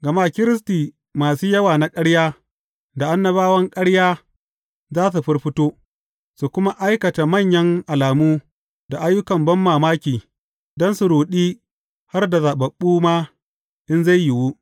Gama Kiristi masu yawa na ƙarya, da annabawan ƙarya za su firfito, su kuma aikata manyan alamu da ayyukan banmamaki don su ruɗi har da zaɓaɓɓu ma in zai yiwu.